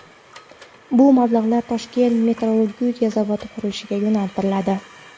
Bu mablag‘lar Toshkent metallurgiya zavodi qurilishiga yo‘naltiriladi.